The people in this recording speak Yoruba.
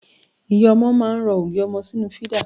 Ìyá ọmọ máa ń rọ ògì ọmọ sínú fídà.